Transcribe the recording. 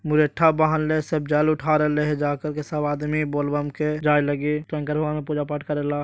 मुरेठा बाँधले सब जल उठा रहलइ हे जाकर के सब आदमी बोल बम के जाये लागी शंकर भगवान क पूजा पाठ करेला।